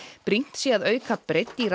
brýnt sé að auka breidd í